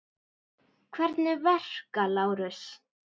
Hvernig verka, Lárus?